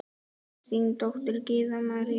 Þín dóttir, Gyða María.